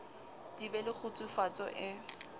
di be le kgutsufatso e